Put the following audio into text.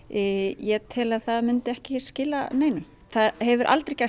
ég tel að það myndi ekki skila neinu það hefur aldrei gert